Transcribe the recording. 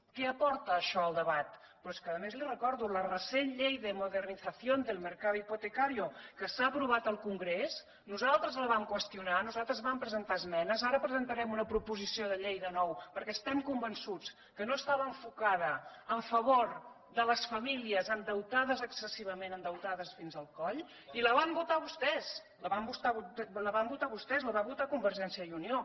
què aporta això al debat però és que a més li ho recordo la recent llei de modernización del mercado hipotecario que s’ha aprovat al congrés nosaltres la vam qüestionar nosaltres hi vam presentar esmenes ara presentarem una proposició de llei de nou perquè estem convençuts que no estava enfocada en favor de les famílies endeutades excessivament endeutades fins al coll i la van votar vostès la van votar vostès la va votar convergència i unió